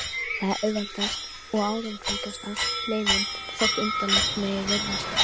Það er auðveldasta og árangursríkasta leiðin, þótt undarlegt megi virðast.